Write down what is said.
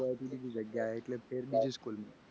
એક જગ્યાએ થી બીજી જગ્યા એટલે ફેર બીજી school માં